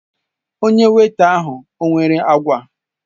Onye weịta ahụ ọ nwere agwa?